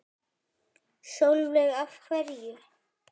Sólveig: Af hverju?